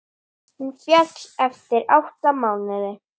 Hún féll eftir átta mánuði.